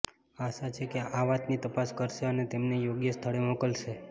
આશા છે કે આ વાતની તપાસ કરશે અને તેમને યોગ્ય સ્થળે મોકલશે